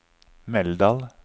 Meldal